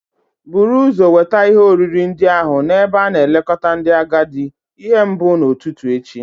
Buru ụzọ weta ihe oriri ndị ahụ n'ebe a na-elekọta ndị agadi ihe mbụ n'ụtụtụ echi